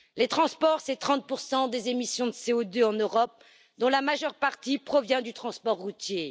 Les transports représentent 30 des émissions de CO2 en Europe, dont la majeure partie provient du transport routier.